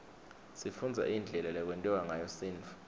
sifundza indlela lekwentiwa ngayo sintfu